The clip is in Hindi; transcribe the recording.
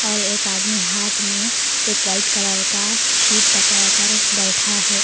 और एक आदमी हाथ में एक वाइट कलर का शीट पकड़ कर बैठा है।